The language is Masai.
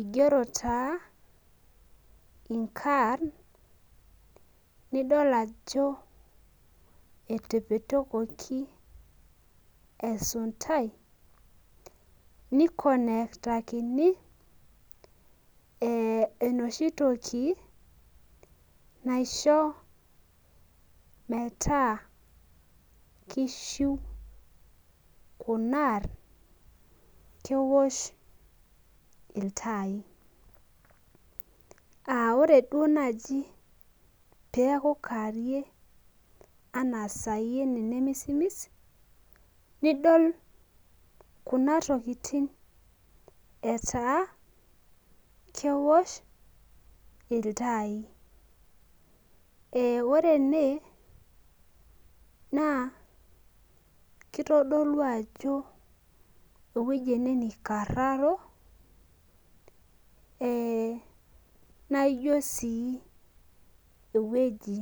igero taa inkarn nidol ajo etepetokoki esuntai nikonektakini enoshi toki, naisho metaa kishiu Kuna aarn keosh iltaai. ore duoo naaji peeku kaarie. anaa sai ene nemisimis. kuna tokitin idol etaa keosh iltaai. ore ene, naa kitodolu ajo ewueji ene nikararo. naa ijo sii ewueji.